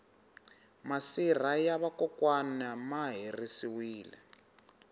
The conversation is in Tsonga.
masirha ya va kokwani ma herisiwile